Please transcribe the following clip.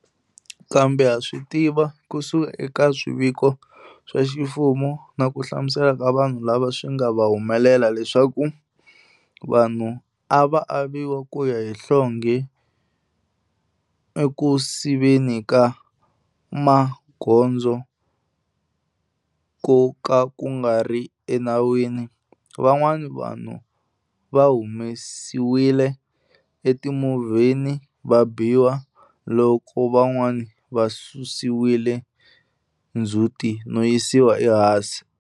Kambe ha swi tiva ku suka eka swiviko swa ximfumo na ku hlamusela ka vanhu lava swi nga va humelela leswaku vanhu a va aviwa ku ya hi nhlonghe eku siveni ka magondzo ko ka ku nga ri enawini, van'wana vanhu va humesiwile etimovheni va biwa, loko van'wana va susiwile ndzhuti no yisiwa ehansi.